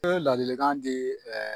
Ee ladilikan di